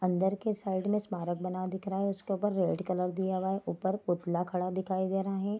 अंदर के साइड में स्मारक बना दिख रहा है उसके ऊपर रेड कलर दिया हुआ है ऊपर पुतला खड़ा दिखाई दे रहा है।